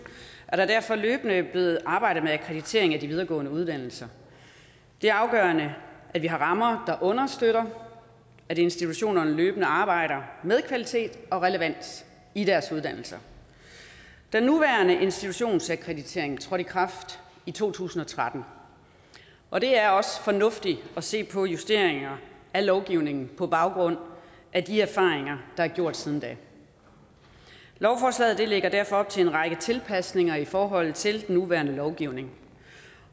er der derfor løbende blevet arbejdet med akkreditering af de videregående uddannelser det er afgørende at vi har rammer der understøtter at institutionerne løbende arbejder med kvalitet og relevans i deres uddannelser den nuværende institutionsakkreditering trådte i kraft i to tusind og tretten og det er også fornuftigt at se på justeringer af lovgivningen på baggrund af de erfaringer der er gjort siden da lovforslaget lægger derfor op til en række tilpasninger i forhold til den nuværende lovgivning